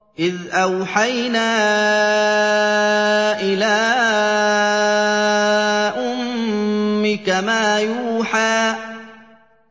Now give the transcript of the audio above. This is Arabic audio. إِذْ أَوْحَيْنَا إِلَىٰ أُمِّكَ مَا يُوحَىٰ